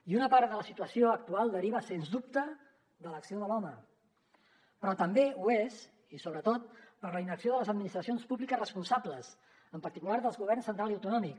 i una part de la situació actual deriva sens dubte de l’acció de l’home però també ho és i sobretot per la inacció de les administracions públiques responsables en particular dels governs central i autonòmic